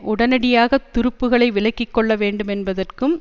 உடனடியாக துருப்புக்களை விலக்கி கொள்ள வேண்டுமென்பதற்கும்